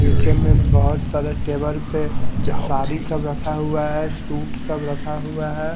निचे में अभोत सारे टेबल पे साड़ी अब रखा हुआ है सूट सब रखा हुआ है।